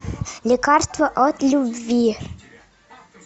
лекарство от любви